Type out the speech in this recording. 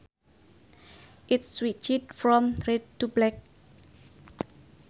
It switched from red to black